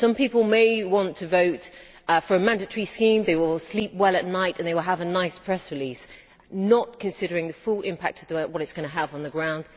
Some people may want to vote for a mandatory scheme. They will sleep well at night and they will have a nice press release not considering the full impact of what it is going to have on the ground.